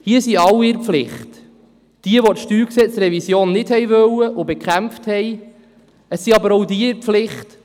Alle sind hier in der Pflicht: Diejenigen, welche die Revision des Steuergesetzes (StG) nicht wollten und bekämpften, aber auch die, die sie wollten.